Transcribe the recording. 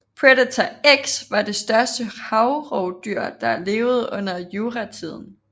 Predator X var det største havrovdyr der levede under juratiden